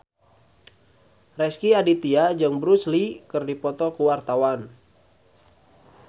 Rezky Aditya jeung Bruce Lee keur dipoto ku wartawan